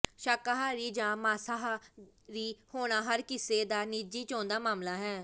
ਸ਼ਾਕਾਹਾਰੀ ਜਾਂ ਮਾਸਾਹਾ ਰੀ ਹੋਣਾ ਹਰ ਕਿਸੇ ਦਾ ਨਿੱਜੀ ਚੋਣ ਦਾ ਮਸਲਾ ਹੈ